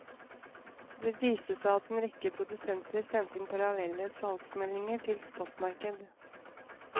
Det viste seg at en rekke produsenter sendte inn parallelle salgsanmeldinger til spotmarkedet.